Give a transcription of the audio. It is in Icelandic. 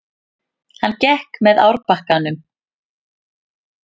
Hann gekk með árbakkanum.